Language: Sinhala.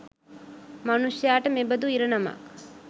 මනුෂ්‍යාට මෙබඳු ඉරණමක්